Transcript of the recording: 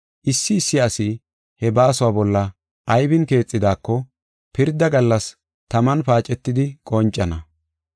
issi issi asi he baasuwa bolla aybin keexidako pirda gallas taman paacetidi qoncana.